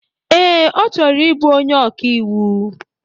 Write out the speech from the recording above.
Ee, ọ chọrọ ịbụ onye ọka iwu.